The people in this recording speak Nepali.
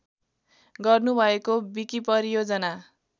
गर्नुभएको विकिपरियोजना